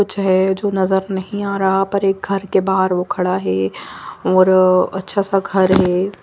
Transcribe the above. कुछ है जो नज़र नही आ रहा है पर एक घर के बहार वो खड़ा है और अच्छा सा घर है।